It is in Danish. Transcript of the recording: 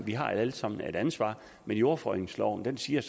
har alle sammen et ansvar men jordforureningsloven siger